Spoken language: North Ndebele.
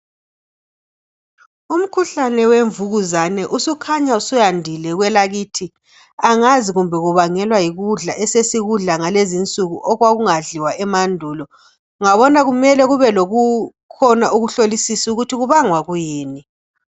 Umkhuhlane wemvukuzane usukhanya suyandile kwelakithi. Angazi kumbe kubangelwa yikudla esesikudla kulezinsuku okwakungadliwa emandulu ungabona kumele kube lokukhona ukuhlolisisa ukuthi kubangwa yikuyini.